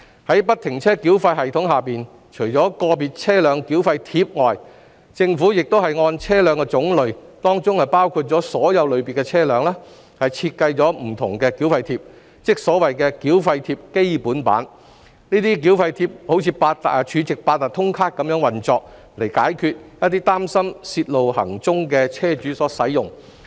在不停車繳費系統下，除了"個別車輛繳費貼"外，政府亦按車輛種類設計了不同的繳費貼，即所謂的"繳費貼"，這些繳費貼如儲值八達通卡般運作，以供一些擔心泄露行蹤的車主使用。